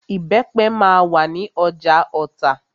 Ìbẹ́pẹ máa wà ní ọjà Ota.